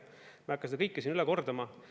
Ma ei hakka seda kõike siin üle kordama.